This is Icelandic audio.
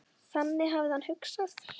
Þannig hafði hann hugsað.